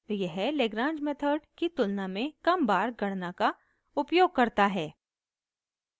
यह lagrange method की तुलना में कम बार गणना का उपयोग करता है